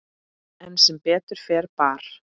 En sem betur fer bar